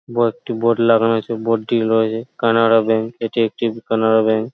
বড়ো একটি বোর্ড লাগানো আছে বোর্ডটির কানাড়া ব্যাঙ্ক । এটি একটা কানাড়া ব্যাঙ্ক |